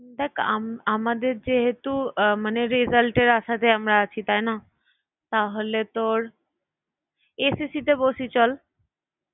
দেখ আম~ আমাদের যেহেতু আহ মানে result এর আশাতে আমরা আছি তাইনা? তাহলে তোর SSC তে বসি চল।